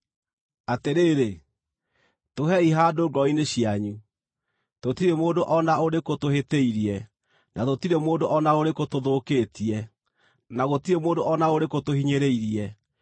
Atĩrĩrĩ, tũhei handũ ngoro-inĩ cianyu. Tũtirĩ mũndũ o na ũrĩkũ tũhĩtĩirie, na tũtirĩ mũndũ o na ũrĩkũ tũthũkĩtie, na gũtirĩ mũndũ o na ũrĩkũ tũhinyĩrĩirie.